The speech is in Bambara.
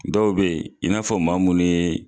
Dɔw be ye i n'a fɔ maa munnu ye